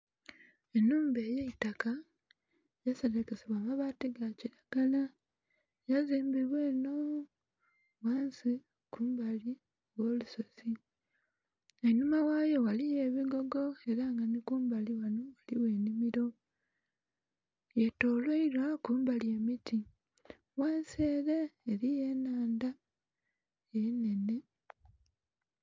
Enhumba eyaitaka yaserekesebwa amabaati gakiragala yazimbibwa enooo ghansi kumbali ogh'olusozi, einhuma ghayo ghaliyo ebigogo era nga nikumbali ghano ghaligho enhimiro yetolwairwa kumbali emiti ghansi ere eriyo enhandha enhenhe.